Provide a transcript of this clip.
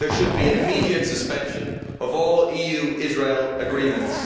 There should be an immediate suspension of all EU Israel Agreements.